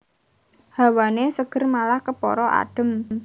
Hawané seger malah kepara adhem